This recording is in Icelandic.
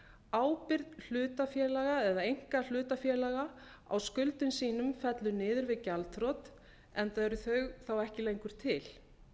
ábyrgð hlutafélaga eða einkahlutafélaga á skuldum sínum fellur niður við gjaldþrot enda eru þau þá ekki lengur til